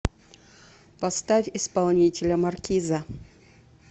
поставь исполнителя маркиза